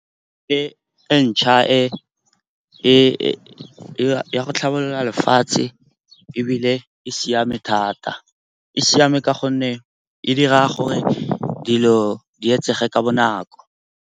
E ntšha ya go tlhabolola lefatshe ebile e siame thata. E siame ka gonne e dira gore dilo di etsege ka bonako.